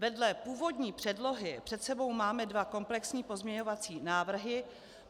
Vedle původní předlohy před sebou máme dva komplexní pozměňovací návrhy.